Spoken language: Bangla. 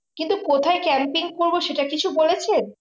কিন্তু কোথায় Camping করবো সেটা কিছু বলেছেন?